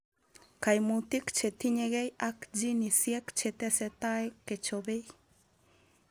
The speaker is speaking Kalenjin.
Kaimutik chetinyegei ak jinisiek chetesetai kechopei